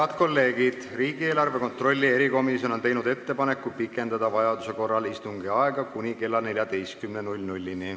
Head kolleegid, riigieelarve kontrolli erikomisjon on teinud ettepaneku pikendada vajaduse korral istungi aega kuni kella 14-ni.